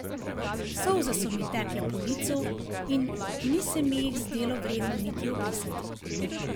Solze so mi tekle po licu in ni se mi jih zdelo vredno niti obrisati.